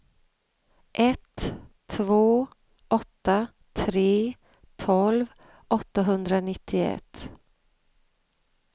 ett två åtta tre tolv åttahundranittioett